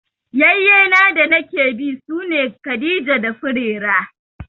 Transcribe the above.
Ƴayyena danake bi sune Khadija da Furera.